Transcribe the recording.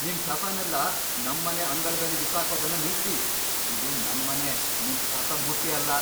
ನಿಮ್ ಕಸನೆಲ್ಲ ನಮ್ಮನೆ ಅಂಗಳದಲ್ಲಿ ಬಿಸಾಕೋದನ್ನ ನಿಲ್ಸಿ. ಇದು ನನ್ ಮನೆ, ನಿಮ್ ಕಸದ್ ಬುಟ್ಟಿ ಅಲ್ಲ!